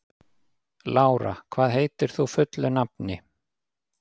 Lára, hvað heitir þú fullu nafni?